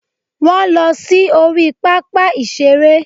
Wọ́n lọ sí orí pápá ìṣeré